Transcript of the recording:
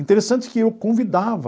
Interessante que eu convidava